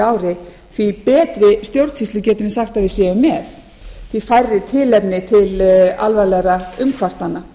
ári því betri stjórnsýslu getum við sagt að við séum með því færri tilefni til alvarlegra umkvartana